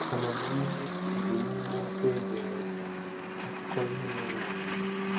Amamihe dị n'ime okwu e dere ede, akụkọ ihe mere eme.